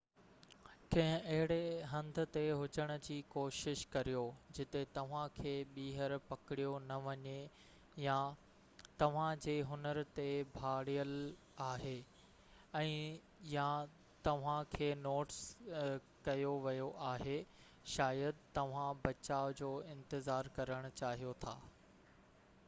ڪنهن اهڙي هنڌ تي هجڻ جي ڪوشش ڪريو جتي توهان کي ٻيهر پڪڙيو نہ وڃي يا توهان جي هنر تي ڀاڙيل آهي ۽ يا توهان کي نوٽس ڪيو ويو آهي شايد توهان بچاءُ جو انتظار ڪرڻ چاهيو ٿا